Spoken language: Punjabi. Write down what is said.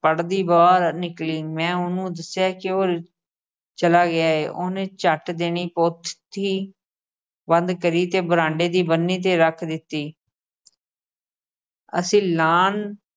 ਪੜ੍ਹਦੀ ਬਾਹਰ ਨਿਕਲੀ ਮੈਂ ਉਹਨੂੰ ਦੱਸਿਆ ਕਿ ਉਹ ਰਿ ਅਹ ਚਲਾ ਗਿਆ ਏ, ਉਹਨੇ ਝੱਟ ਦੇਨੇ ਪੋਥੀ ਬੰਦ ਕਰੀ ਤੇ ਬਰਾਂਡੇ ਦੀ ਬੰਨ੍ਹੀ ਤੇ ਰੱਖ ਦਿੱਤੀ ਅਸੀਂ lawn